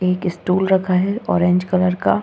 एक स्टूल रखा है ऑरेंज कलर का।